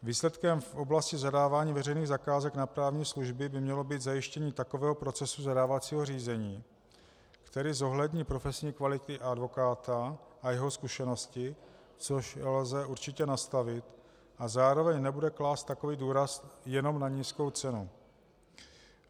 Výsledkem v oblasti zadávání veřejných zakázek na právní služby by mělo být zajištění takového procesu zadávacího řízení, který zohlední profesní kvality advokáta a jeho zkušenosti, což lze určitě nastavit, a zároveň nebude klást takový důraz jenom na nízkou cenu.